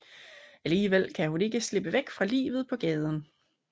Alligevel kan hun ikke slippe væk fra livet på gaden